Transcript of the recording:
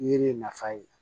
Yiri nafa ye